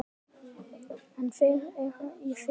En þeir eru í felum!